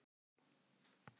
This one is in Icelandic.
Ekki get ég mælt á móti því.